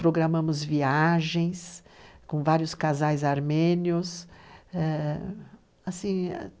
Programamos viagens com vários casais armênios, eh, assim,